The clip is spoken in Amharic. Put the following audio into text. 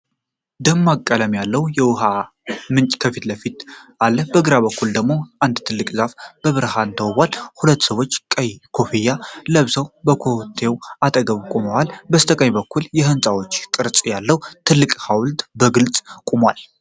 ደማቅ ቀለም ያለው የውሃ ምንጭ ከፊት ለፊት አለ። በግራ በኩል አንድ ትልቅ ዛፍ በብርሃን ተውቧል። ሁለት ሰዎች ቀይ ኮፍያ ለብሰው ከፋውንቴኑ አጠገብ ቆመዋል። በስተቀኝ በኩል የሕንፃ ቅርጽ ያለው ትልቅ ሐውልት በግልጽ ቁሟል።